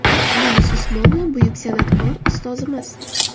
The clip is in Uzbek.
Yulduz Usmonova buyuk san’atkor, ustozimiz.